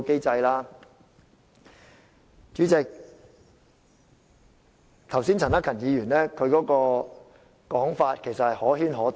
主席，陳克勤議員剛才的說法可圈可點。